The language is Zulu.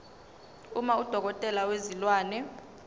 uma udokotela wezilwane